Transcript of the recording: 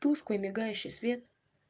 тусклый мигающий свет